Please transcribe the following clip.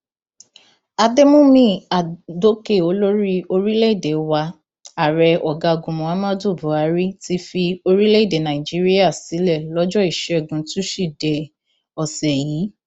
àdèmúmí adókè olórí orílẹèdè wa ààrẹ ọgágun muhammadu buhari ti fi orílẹèdè nàíjíríà sílẹ lọjọ ìṣẹgun túṣídéé ọsẹ yìí